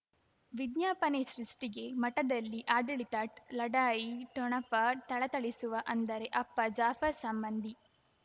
ವಿಜ್ಞಾಪನೆ ಸೃಷ್ಟಿಗೆ ಮಠದಲ್ಲಿ ಆಡಳಿತ ಲಢಾಯಿ ಠೊಣಪ ಥಳಥಳಿಸುವ ಅಂದರೆ ಅಪ್ಪ ಜಾಫರ್ ಸಂಬಂಧಿ